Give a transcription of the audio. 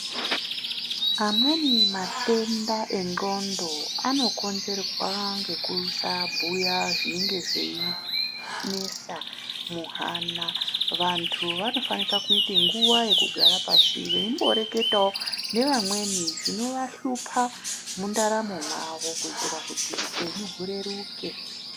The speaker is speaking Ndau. Amweni matenda endxondo anokonzerwa ngekusabhuya zvinenge zveinesa muhana. Vantu vanofanira kuita nguwa yekugara pashi veimboreketawo nevamweni zvinovahlupha mundaramo mavo kuitira kuti